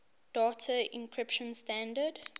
data encryption standard